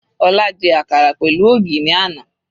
Ọlá jẹ àkàrà pẹ̀lú ògì ní àná.